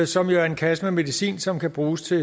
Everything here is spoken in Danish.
som jo er en kasse med medicin som kan bruges til